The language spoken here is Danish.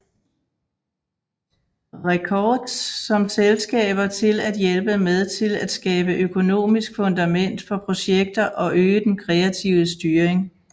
Records som selskaber til at hjælpe med til at skabe økonomisk fundament for projekter og øge den kreative styring